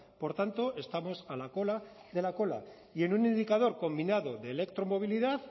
por tanto estamos a la cola de la cola y en un indicador combinado de electromovilidad